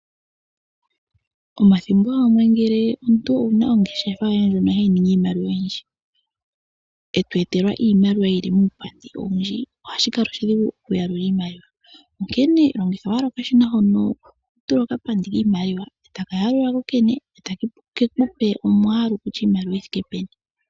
Omathimbo gamwe ngele omuntu owuna ongeshefa ndjono hayi ningi iimaliwa oyindji, e to etelwa iimaliwa yili muupandi owundji, ohashi kala oshidhigu okuyalula iimaliwa, onkene longitha owala okashina hono hotula okapandi kiimaliwa, e taka yalula kookene, e take kupe omwalu kutya iimaliwa oyi thike peni.